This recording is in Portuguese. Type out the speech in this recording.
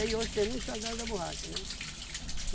Aí hoje tem muito soldado da borracha, né?